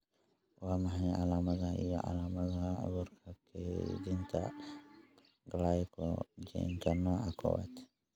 Waa maxay calaamadaha iyo calaamadaha cudurka kaydinta Glycogenka nooca kowasB?